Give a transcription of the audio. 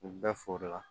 U bɛɛ foro la